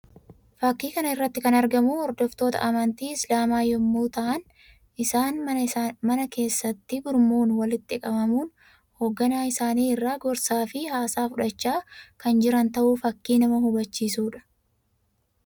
Fakkii kana irratti kan argamu hordoftoota amantii isilaamaa yammuu tahan; isaania mana keessatti gurmuun walitti qabamuun hogganaa isaanii irraa gorsaa fi haasaa fudhachaa kan jiran tahuu fakkii nama hubachiisuu dha.